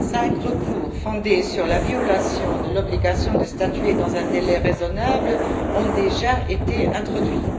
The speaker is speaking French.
Cinq recours fondés sur la violation de l'obligation de statuer dans un délai raisonnable ont déjà été introduits.